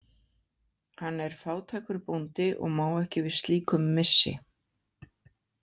Hann er fátækur bóndi og má ekki við slíkum missi.